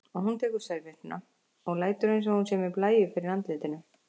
Og hún tekur servéttuna og lætur einsog hún sé með blæju fyrir andlitinu.